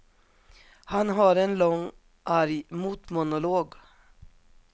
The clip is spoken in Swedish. Han har en lång arg motmonolog.